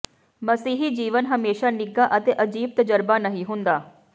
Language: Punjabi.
ਮਸੀਹੀ ਜੀਵਨ ਹਮੇਸ਼ਾ ਨਿੱਘਾ ਅਤੇ ਅਜੀਬ ਤਜਰਬਾ ਨਹੀਂ ਹੁੰਦਾ